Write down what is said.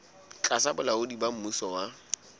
tlasa bolaodi ba mmuso wa